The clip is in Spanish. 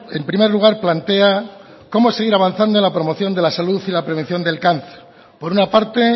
en primer lugar plantea como seguir avanzando en la promoción de la salud y la prevención del cáncer por una parte